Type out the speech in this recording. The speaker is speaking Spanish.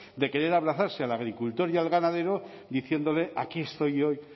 de querer abrazarse el agricultor y el ganadero diciéndole aquí estoy yo